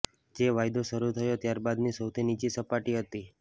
જે વાયદો શરૂ થયો ત્યારબાદની સૌથી નીચી સપાટી હતી